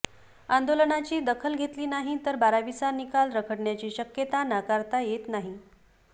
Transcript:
आंदोलनाची दखल घेतली नाही तर बारावीचा निकाल रखडण्याची शक्यता नाकारता येत नाही